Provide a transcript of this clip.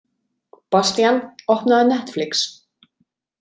Bastían, opnaðu Netflix.